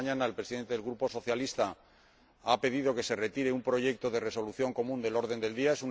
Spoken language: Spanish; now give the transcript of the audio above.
Esta mañana, el Presidente del Grupo Socialista ha pedido que se retire un proyecto de resolución común del orden del día.